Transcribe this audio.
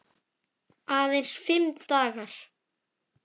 Aðeins fimm dagar.